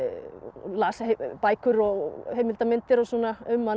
las bækur og heimildamyndir og svona um hana